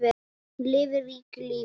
Hún lifði ríku lífi.